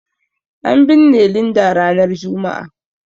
An binne Linda ranar Juma'a.